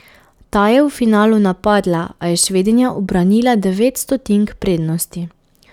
Ta je v finalu napadla, a je Švedinja ubranila devet stotink prednosti.